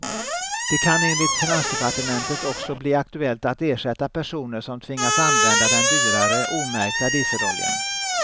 Det kan enligt finansdepartementet också bli aktuellt att ersätta personer som tvingas använda den dyrare, omärkta dieseloljan.